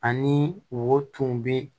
Ani wo tun bɛ